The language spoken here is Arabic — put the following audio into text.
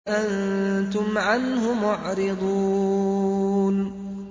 أَنتُمْ عَنْهُ مُعْرِضُونَ